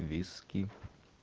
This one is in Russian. виски